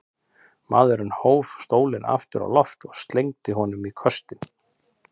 Maðurinn hóf stólinn aftur á loft og slengdi honum í köstinn.